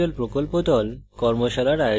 কথ্য tutorial প্রকল্প the